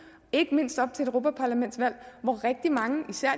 ikke mindst op til et europaparlamentsvalg hvor rigtig mange især